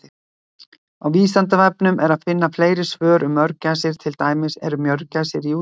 Á Vísindavefnum er að finna fleiri svör um mörgæsir, til dæmis: Eru mörgæsir í útrýmingarhættu?